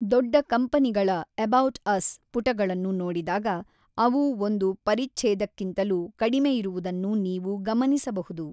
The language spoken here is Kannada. ದೊಡ್ಡ ಕಂಪನಿಗಳ 'ಎಬೌಟ್ ಅಸ್' ಪುಟಗಳನ್ನು ನೋಡಿದಾಗ ಅವು ಒಂದು ಪರಿಛ್ಛೇದಕ್ಕಿಂತಲೂ ಕಡಿಮೆಯಿರುವುದನ್ನು ನೀವು ಗಮನಿಸಬಹುದು.